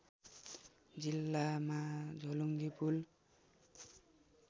जिल्लामा झोलुङ्गे पुल